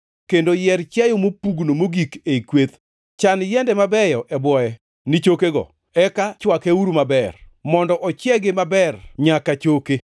kendo yier chiayo mopugno mogik ei kweth. Chan yiende mabeyo e bwoye ni chokego; eka chwakeuru maber, mondo ochiegi maber nyak choke.